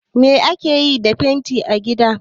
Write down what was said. Me ake yi da fenti a gida?